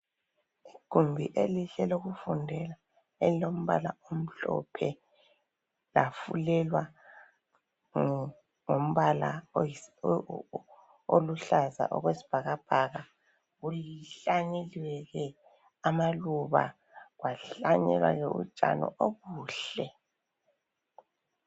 Igumbi elihle lokufundela. Elilombala omhlophe, Lafulelwa ngombala oluhlaza okwesibhakabhaka. Kuhlanyeliwe amaluba. Kwahlanyelwa ke utshani obuhle.